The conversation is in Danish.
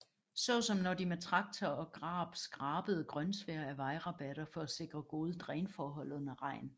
Såsom når de med traktor og grab skrabede grønsvær af vejrabatter for at sikre gode drænforhold under regn